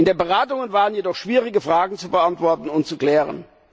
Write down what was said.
In den Beratungen waren jedoch schwierige Fragen zu beantworten und zu klären.